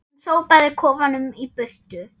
Hún sópaði kofanum í burtu